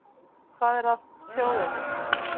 Hvað er að þjóðinni